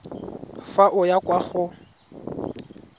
fa o ya kwa go